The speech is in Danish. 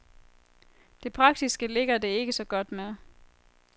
Det praktiske ligger det ikke så godt med.